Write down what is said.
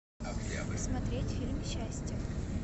смотреть фильм счастье